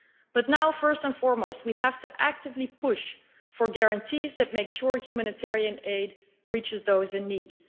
But now, first and foremost, we have to actively push for guarantees that make sure humanitarian aid reaches those in need.